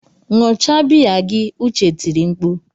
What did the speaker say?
Ṅụọ cha biya gị! Uche tiri mkpu.